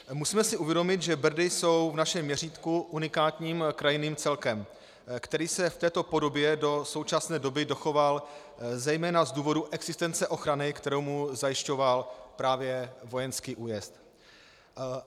Musíme si uvědomit, že Brdy jsou v našem měřítku unikátním krajinným celkem, který se v této podobě do současné doby dochoval zejména z důvodu existence ochrany, kterou mu zajišťoval právě vojenský újezd.